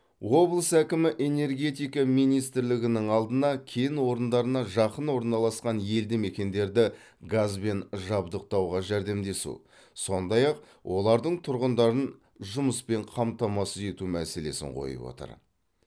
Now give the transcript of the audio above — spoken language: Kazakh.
облыс әкімі энергетика министрлігінің алдына кен орындарына жақын орналасқан елді мекендерді газбен жабдықтауға жәрдемдесу сондай ақ олардың тұрғындарын жұмыспен қамтамасыз ету мәселесін қойып отыр